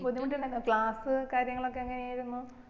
ബുദ്ധിമുട്ട് ഇണ്ടാർന്നോ class കാര്യങ്ങളൊക്കെ എങ്ങനെ ആയിരിന്നു